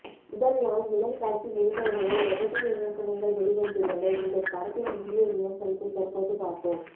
முதல் நாள் முதல் காட்சி முடிந்தவுடனே நெகட்டிவ் விமர்சனங்கள் வெளிவந்துள்ள இந்த படத்தின் வீடியோ விமர்சனத்தை தற்போது பார்ப்போம்